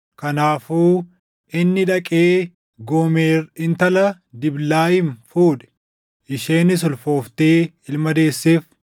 Kanaafuu inni dhaqee Goomer intala Diblaayiim fuudhe; isheenis ulfooftee ilma deesseef.